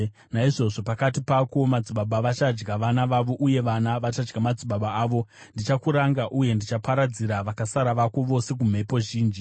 Naizvozvo pakati pako madzibaba vachadya vana vavo, uye vana vachadya madzibaba avo. Ndichakuranga uye ndichaparadzira vakasara vako vose kumhepo zhinji.